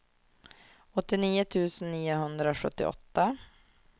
åttionio tusen niohundrasjuttioåtta